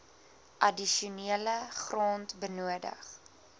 addisionele grond benodig